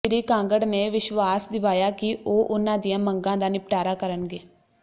ਸ੍ਰੀ ਕਾਂਗੜ ਨੇ ਵਿਸ਼ਵਾਸ ਦਿਵਾਇਆ ਕਿ ਉਹ ਉਨ੍ਹਾਂ ਦੀਆਂ ਮੰਗਾਂ ਦਾ ਨਿਪਟਾਰਾ ਕਰਨਗੇ